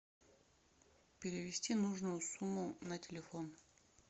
перевести нужную сумму на телефон